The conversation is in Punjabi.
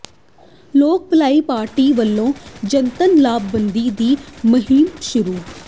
ਲੋਕ ਭਲਾਈ ਪਾਰਟੀ ਵੱਲੋਂ ਜਨਤਕ ਲਾਮਬੰਦੀ ਦੀ ਮੁਹਿੰਮ ਸ਼ੁਰੂ